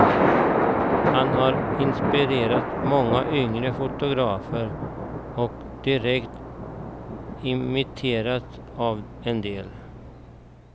Han har inspirerat många yngre fotografer, och direkt imiterats av en del.